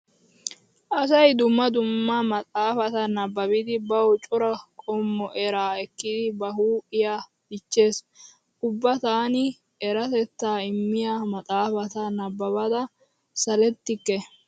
Asay dumma dumma maxaafata nabbabidi bawu cora qommo eraa ekkidi ba huuphiya dichchees. Ubba taani eratettaa immiya maxaafata nabbabada salettikke.